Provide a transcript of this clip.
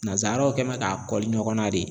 Nanzaraw kɛ mɛ k'a kɔli ɲɔgɔn na de.